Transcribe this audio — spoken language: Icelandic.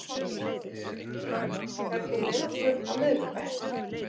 Eylín, ferð þú með okkur á miðvikudaginn?